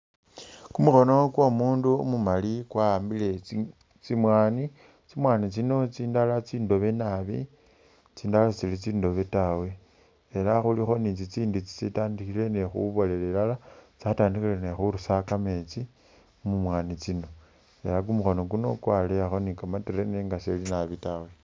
Kumukhono gwo umundu umumali gwa hambile tsimwanyi tsimwanyi tsino tsindala tsindobe naabi tsindala setsili tsindobe taawe ela khulikho ni tsitsindi tsitandikhile ni khubolela tsatandikhile ni khurusa kameetsi mumwanyi tsino ela kumukhono kuno kwaleeyakho ni kamtere nenga sili naabi taawe